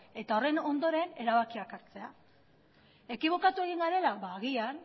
eta horren ondoren erabakiak hartzea ekibokatu egin garela agian